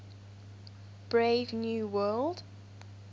brave new world